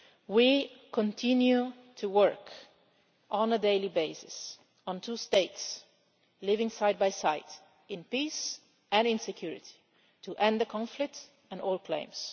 We continue to work on a daily basis on two states living side by side, in peace and in security, to end the conflict and all claims.